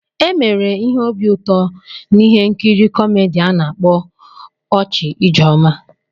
E mere ihe obi ụtọ n'ihe nkiri kọmedi a na-akpọ "Ọchị Ijeoma."